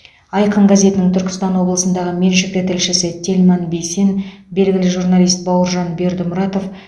айқын газетінің түркістан облысындағы меншікті тілшісі тельман бейсен белгілі журналист бауыржан бердімұратов